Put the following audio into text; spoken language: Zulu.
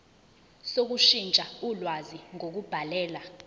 sokushintsha ulwazi ngokubhalela